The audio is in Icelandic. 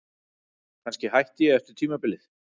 Kannski hætti ég eftir tímabilið.